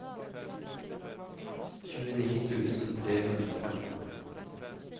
tjueni tusen tre hundre og femten